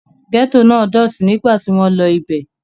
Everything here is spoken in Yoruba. Gẹ́tò náà dọ̀tí nígbà tí wọ́n lọ ibẹ̀.